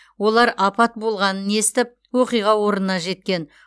олар апат болғанын естіп оқиға орнына жеткен